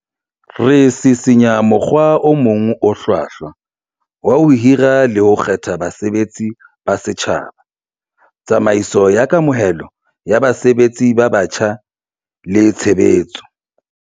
Re sisinya mokgwa o mong o hlwahlwa wa ho hira le ho kgetha basebetsi ba setjhaba, tsamaiso ya kamohelo ya basebetsi ba batjha le tshe betso.